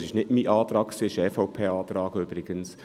Es ist im Übrigen nicht mein Antrag, sondern ein EVP-Antrag.